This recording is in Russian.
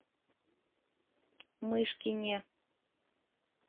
мышкине